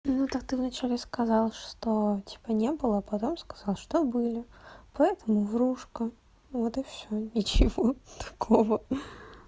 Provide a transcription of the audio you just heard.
ну так ты вначале сказала что типа не было потом сказал что были поэтому врушка вот и все ничего такого